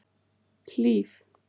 Hlíf